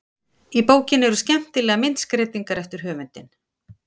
Í bókinni eru skemmtilegar myndskreytingar eftir höfundinn.